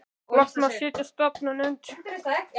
Loks má setja á stofn svo nefnda fulltrúanefnd.